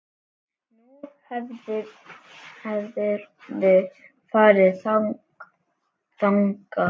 Nú, hefurðu farið þangað?